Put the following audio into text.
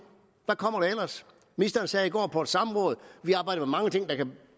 hvad kommer der ellers ministeren sagde i går på et samråd